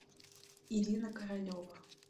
ирина королева